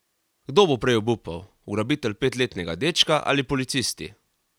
Kdo bo prej obupal, ugrabitelj petletnega dečka ali policisti?